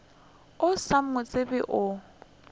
o sa mo tsebe o